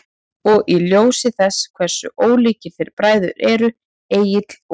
Og í ljósi þess hversu ólíkir þeir bræður eru, Egill og